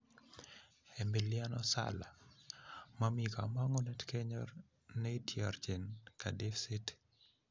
Emiliano Sala: momi komongunet kenyor neityorchin Cardiff city.